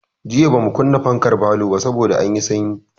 Jiya bamu kunna fankar falo ba saboda anyi sanyi.